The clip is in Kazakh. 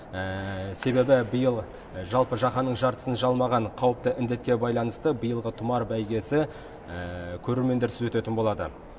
себебі биыл жалпы жаһанның жартысын жалмаған қауіпті індетке байланысты биылғы тұмар бәйгесі көрермендерсіз өтетін болады